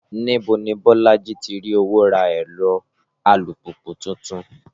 Níbo ni Bọ́lájí ti rí owó ra ẹ̀rọ alùpùpù tuntun?